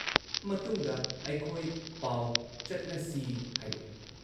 ꯃꯇꯨꯡꯗ ꯑꯩꯈꯣꯏ ꯄꯥꯎ ꯆꯠꯅꯁꯤ ꯍꯥꯏꯔꯛꯏ ꯫